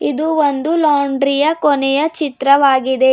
ಇದು ಒಂದು ಲಾಂಡ್ರಿ ಯ ಕೊನೆಯ ಚಿತ್ರವಾಗಿದೆ.